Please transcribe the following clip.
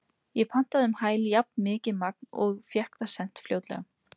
Ég pantaði um hæl jafnmikið magn og fékk það sent fljótlega.